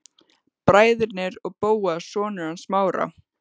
Bræðurnir og Bóas, sonur hans Smára.